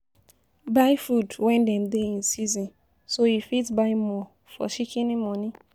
Buy food stuff when dem dey in season so you fit by more for Shikini money